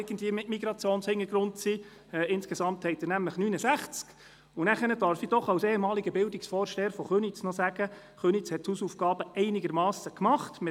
Als ehemaliger Bildungsvorsteher der Gemeinde Köniz darf ich sagen, dass die Gemeinde Köniz ihre Hausaufgaben einigermassen gemacht hat.